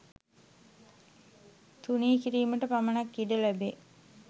තුනී කිරීමට පමණක් ඉඩ ලැබේ.